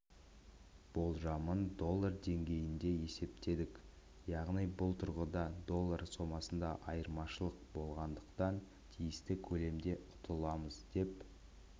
болжамын доллар деңгейінде есептедік яғни бұл тұрғыда доллар сомасында айырмашылық болғандықтан тиісті көлемде ұтыламыз деп